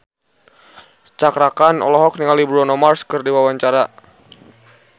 Cakra Khan olohok ningali Bruno Mars keur diwawancara